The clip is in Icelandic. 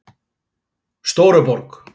Stóruborg